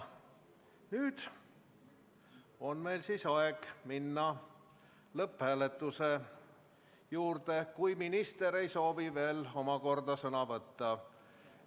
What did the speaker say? Nüüd on meil aeg minna lõpphääletuse juurde, kui minister ei soovi veel omakorda sõna võtta.